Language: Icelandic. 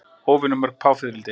Óvenju mörg páfiðrildi